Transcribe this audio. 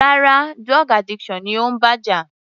Rárá, drug addiction ni ó ń bá jà.